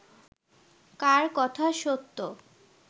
কার কথা সত্য